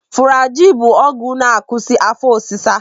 Fụrajil bụ ọgwụ na-akwụsị afọ ọsịsa.